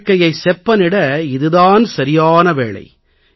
வாழ்க்கையைச் செப்பனிட இது தான் சரியான வேளை